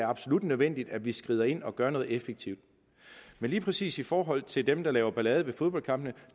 absolut nødvendigt at vi skrider ind og gør noget effektivt men lige præcis i forhold til dem der laver ballade ved fodboldkampe